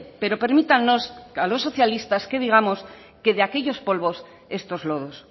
pero permítannos a los socialistas que digamos que de aquellos polvos estos lodos